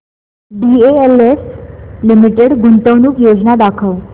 DLF limited गुंतवणूक योजना दाखव